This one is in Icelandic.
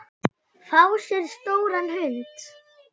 Fá sér stóran hund?